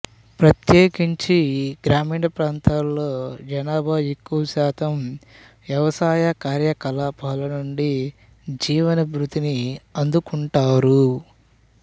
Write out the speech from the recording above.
ప్రత్యేకించి గ్రామీణ ప్రాంతాల్లో జనాభాలో ఎక్కువ శాతం వ్యవసాయ కార్యకలాపాల నుండి జీవనభృతిని అందుకుటున్నారు